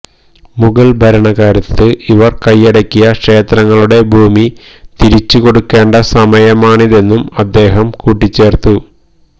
മുഗള് ഭരണകാലത്ത് അവര് കൈയടക്കിയ ക്ഷേത്രങ്ങളുടെ ഭൂമി തിരിച്ചുകൊടുക്കേണ്ട സമയമാണിതെന്നും അദ്ദേഹം കൂട്ടിച്ചേര്ത്തു